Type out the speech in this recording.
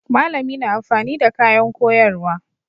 Malami na amfani da kayan koyarwa.